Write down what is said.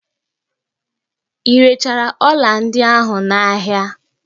I rechara ọla ndị ahụ n'ahia?